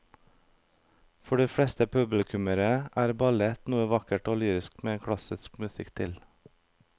For de fleste publikummere er ballett noe vakkert og lyrisk med klassisk musikk til.